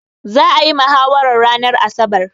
Za'a yi mahawarar ranar asabar.